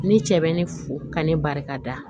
Ne cɛ bɛ ne fo ka ne barika da